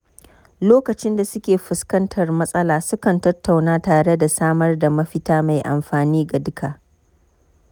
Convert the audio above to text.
Lokacin da suke fuskantar matsala, sukan tattauna tare da samar da mafita mai amfani ga duka.